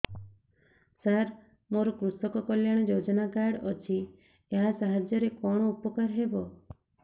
ସାର ମୋର କୃଷକ କଲ୍ୟାଣ ଯୋଜନା କାର୍ଡ ଅଛି ୟା ସାହାଯ୍ୟ ରେ କଣ ଉପକାର ହେବ